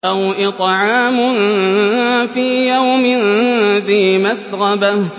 أَوْ إِطْعَامٌ فِي يَوْمٍ ذِي مَسْغَبَةٍ